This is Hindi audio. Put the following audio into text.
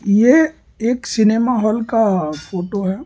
ये एक सिनेमा हॉल का फोटो है।